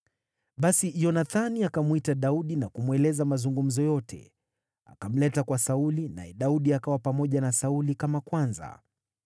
Basi Yonathani akamwita Daudi na kumweleza mazungumzo yote. Akamleta kwa Sauli, naye Daudi akawa pamoja na Sauli kama kwanza.